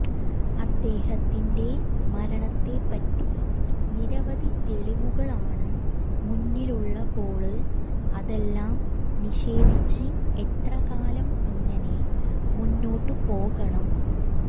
അദ്ദേഹത്തിന്െറ മരണത്തെപ്പറ്റി നിരവധി തെളിവുകള് മുന്നിലുള്ളപ്പോള് അതെല്ലാം നിഷേധിച്ച് എത്രകാലം ഇങ്ങനെ മുന്നോട്ടുപോകണം